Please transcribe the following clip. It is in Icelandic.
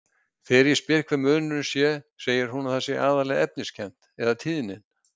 Þegar ég spyr hver munurinn sé segir hún að það sé aðallega efniskennt- eða tíðnin.